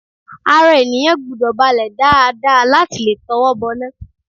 Ara ènìyàn gbọ́dọ̀ balẹ̀ dáadáa láti lè tọwọ́ bọná